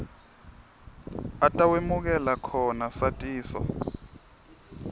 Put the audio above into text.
atawemukela khona satiso